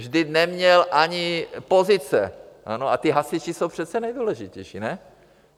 Vždyť neměl ani pozice, a ti hasiči jsou přece nejdůležitější, ne?